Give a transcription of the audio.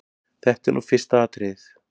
Þetta er nú fyrsta atriðið.